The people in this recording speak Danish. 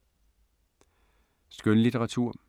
Skønlitteratur